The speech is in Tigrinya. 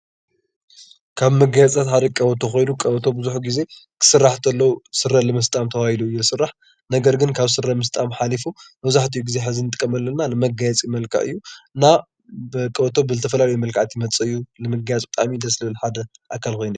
ካብ መጋየፅታት ሓደ ቆበቶ ኮይኑ ቆበቶ ብዙሕ ግዜ ክስራሕ ከሎ ስረ ንምስጣም ተባሂሉ እዩ ዝስራሕ፡፡ ነገር ግን ካብ ስረ ምስጣም ሓሊፉ መብዛሕትኡ ግዜ ሕዚ እንጥቀመሉ ዘለና ንመጋየፂ መልክዕ እዩ፡፡ እና ቀበቶ ብዝተፈላለየ መልክዓት ዝመፅእ እዩ ንመጋየፂ ደስ ዝብለ ሓደ ኣካል ኮይኑ እዩ፡፡